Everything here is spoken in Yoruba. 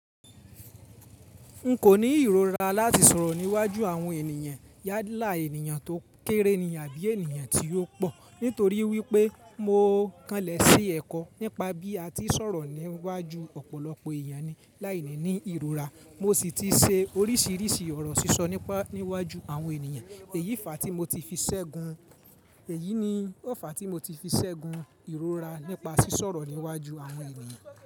N kò ní ìrora láti sọ̀rọ̀ níwájú àwọn ènìyàn, yàlá ènìyàn tó kéré ni àbí ènìyàn tí ó pọ̀. Nítorí wípé mo kanlẹ̀ sí ẹ̀kọ́ nípa bí a ti ń sọ̀rọ̀ níwájú ọ̀pọ̀lọpọ̀ èeyan ni láìní ìrora. Mo sì ti ṣe oríṣìíríṣìí ọ̀rọ̀ sísọ nípa níwájú àwọn ènìyàn. Èyí fà tí mo ti fi ṣẹ́gun, èyí ni ò fa tí mo ti fi ṣẹ́gun ìrora nípa sísọ̀rọ̀ níwájú àwọn ènìyàn.